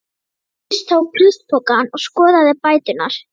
Hjördís tók plastpokann og skoðaði bæturnar.